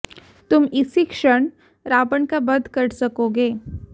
तुम इसी क्षण रावण का वध कर सकोगे